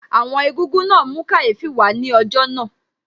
Àwọn Egúngún náà mú kàyéfì wà á ní ọjọ́ náà